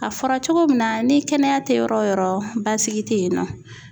A fɔra cogo min na ni kɛnɛya te yɔrɔ o yɔrɔ basigi te yen nɔ